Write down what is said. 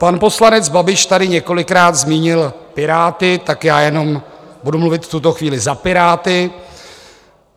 Pan poslanec Babiš tady několikrát zmínil Piráty, tak já jenom budu mluvit v tuto chvíli za Piráty.